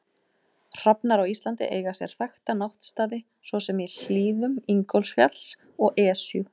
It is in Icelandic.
Hrafnar á Íslandi eiga sér þekkta náttstaði svo sem í hlíðum Ingólfsfjalls og Esju.